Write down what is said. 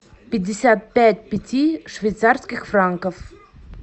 пятьдесят пять пяти швейцарских франков